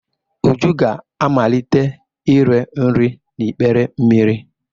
Uju ga-amalite ire nri n'ikpere mmiri.